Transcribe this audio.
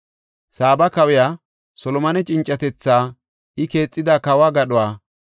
Saaba kawiya Solomone cincatetha, I keexida kawo gadhuwa,